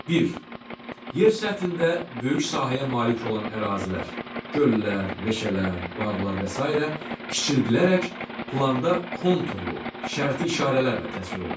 Bir: Yer səthində böyük sahəyə malik olan ərazilər — göllər, meşələr, bağlar və sairə — kiçildilərək planda konturlu şərti işarələrlə təsvir olunur.